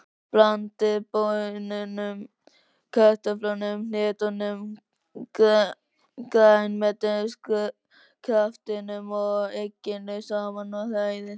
Blandið baununum, kartöflunum, hnetunum, grænmetiskraftinum og egginu saman og hrærið.